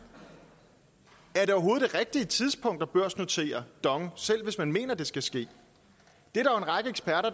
er det rigtige tidspunkt at børsnotere dong selv hvis man mener at det skal ske det